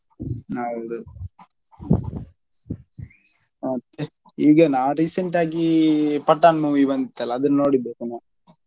ಹೌದು ಮತ್ತೆ ಈಗ ನಾ recent ಆಗಿ पठान movie ಬಂತಲ್ಲ ಅದನ್ನು ನೋಡಿದ್ದೇ ಪುನಃ.